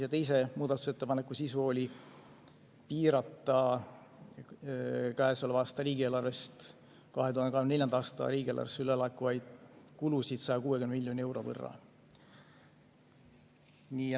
Ja teise muudatusettepaneku sisu oli piirata käesoleva aasta riigieelarvest 2024. aasta riigieelarvesse üle laekuvaid kulusid 160 miljoni euro võrra.